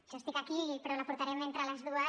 jo estic aquí però la portarem entre les dues